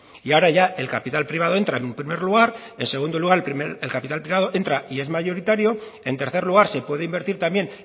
y ahora ya el capital privado entra en un primer lugar en segundo lugar el capital privado entra y es mayoritario en tercer lugar se puede invertir también